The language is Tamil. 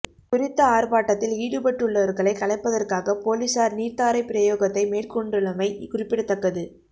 குறித்த ஆர்ப்பாட்டதில் ஈடுபட்டுள்ளவர்களை கலைப்பதற்காக பொலிஸார் நீர்த்தாரைப் பிரயோகத்தை மேற்கொண்டுள்ளமை குறிப்பிடத்தக்கது